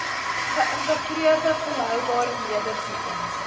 geïntegreerde volhoubare nedersettings